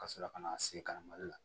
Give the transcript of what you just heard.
Ka sɔrɔ ka na se ka na malo la